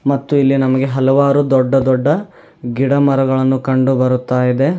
ಮತ್ತು ಇಲ್ಲಿ ನಮಗೆ ಹಲವಾರು ದೊಡ್ಡ ದೊಡ್ಡ ಗಿಡ ಮರಗಳನ್ನು ಕಂಡುಬರುತ್ತಾಯಿದೆ.